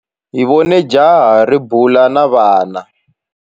Hi vone jaha ri bula na vana.